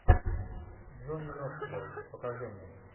джонни ноксвил покажи мне